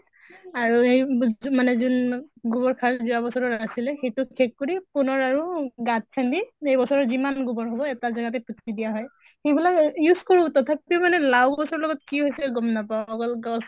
আৰু হেই মানে যোন গোবৰ সাৰ যোৱা বছৰৰ আছিলে সেইটো শেষ কৰি পুনৰ আৰু গাঁত খান্দি এই বছৰৰ যিমান গোবৰ হʼব এটা জেগাতে পুতি দিয়া হয়। এইবিলাক এহ use কৰোঁ তথাপিও মানে লাওঁ গছৰ লগত কি হৈছে গম নাপাওঁ। অকল গছ